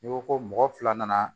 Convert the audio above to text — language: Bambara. N'i ko ko mɔgɔ fila nana